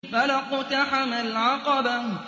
فَلَا اقْتَحَمَ الْعَقَبَةَ